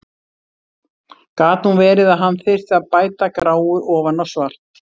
Gat nú verið að hann þyrfti að bæta gráu ofan á svart!